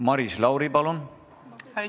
Maris Lauri, palun!